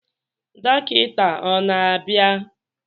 Dọkịta ọ na-abịa?